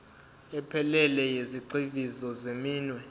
ephelele yezigxivizo zeminwe